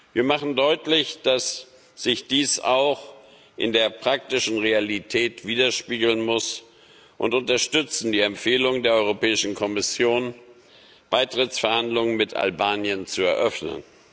Wir machen deutlich, dass sich dies auch in der praktischen Realität widerspiegeln muss, und unterstützen die Empfehlung der Europäischen Kommission, Beitrittsverhandlungen mit Albanien zu eröffnen.